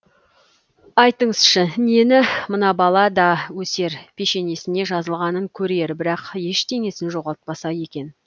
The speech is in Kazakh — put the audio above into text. айтыңызшы нені мына бала да өсер пешенесіне жазылғанын көрер бірақ ештеңесін жоғалтпаса екен